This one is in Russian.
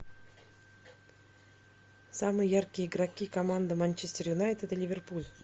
самые яркие игроки команды манчестер юнайтед и ливерпуль